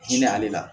Hinɛ ale la